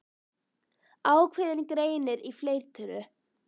Ákveðinn greinir í fleirtölu.